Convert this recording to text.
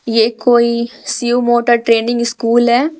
यह कोई Shiv motor training school है।